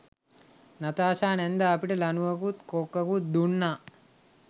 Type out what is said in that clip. Natasha නැන්දා අපිට ලණුවකුත් කොක්කකුත් දුන්නා.